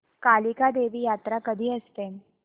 कालिका देवी यात्रा कधी असते